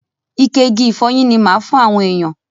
Ike igi ìfọyín ni máa ma fún àwọn èèyàn.